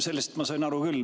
Sellest ma sain aru küll.